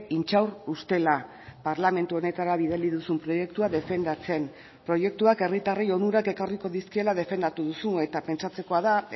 intxaur ustela parlamentu honetara bidali duzun proiektua defendatzen proiektuak herritarrei onurak ekarriko dizkiela defendatu duzu eta pentsatzekoa da